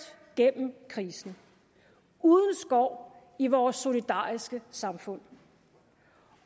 gennem krisen uden skår i vores solidariske samfund